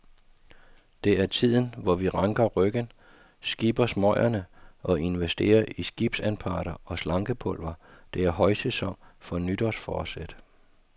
Det er tiden, hvor vi ranker ryggen, skipper smøgerne og investerer i skibsanparter og slankepulver, det er højsæson for nytårsforsæt.